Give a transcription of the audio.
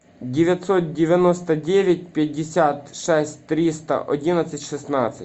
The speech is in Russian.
девятьсот девяносто девять пятьдесят шесть триста одиннадцать шестнадцать